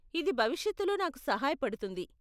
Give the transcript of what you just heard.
ఇది భవిష్యత్తులో నాకు సహాయపడుతుంది